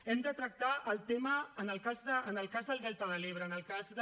hem de tractar el tema en el cas del delta de l’ebre en el cas de